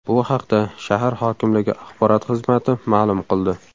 Bu haqda shahar hokimligi axborot xizmati ma’lum qildi .